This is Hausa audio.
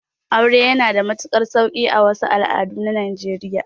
Aure yana da matuƙar sauƙi a wasu al'adun na najeriya